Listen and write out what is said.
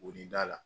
Wi da la